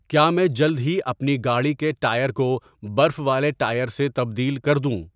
کیا میں جلد ہی اپنی گاڑی کے ٹائر کو برف والے ٹائر سے تبدیل کر دوں